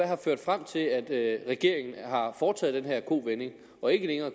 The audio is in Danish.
har ført frem til at regeringen har foretaget den her kovending og ikke længere